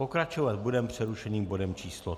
Pokračovat budeme přerušeným bodem číslo